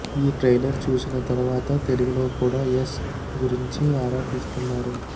ఈ ట్రైలర్ చూసిన తర్వాత తెలుగులో కూడా యశ్ గురించి ఆరా తీస్తున్నారు